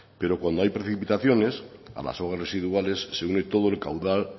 pero cuando hay precipitaciones a las aguas residuales se une todo el caudal